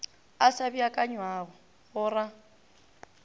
a sa beakanywago go ra